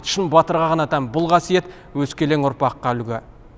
шын батырға ғана тән бұл қасиет өскелен ұрпаққа үлгі